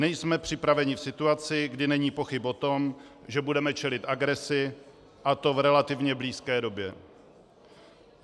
Nejsme připraveni v situaci, kdy není pochyb o tom, že budeme čelit agresi, a to v relativně blízké době.